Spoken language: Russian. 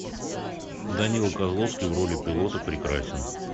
данила козловский в роли пилота прекрасен